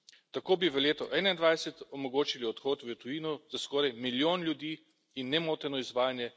Tako bi v letu 2021 omogočili odhod v tujino za skoraj milijon ljudi in nemoteno izvajanje